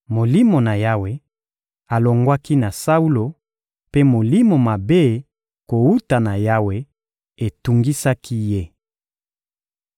Molimo na Yawe alongwaki na Saulo, mpe molimo mabe kowuta na Yawe etungisaki ye.